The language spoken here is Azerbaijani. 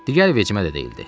Digər vecimə də deyildi.